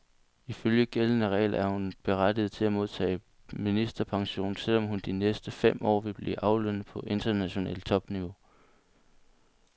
Ifølge gældende regler er hun berettiget til at modtage ministerpension, selv om hun de næste fem år vil blive aflønnet på internationalt topniveau.